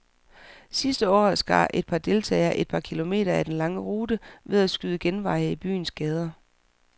Sidste år skar et par deltagere et par kilometer af den lange rute ved at skyde genveje i byens gader.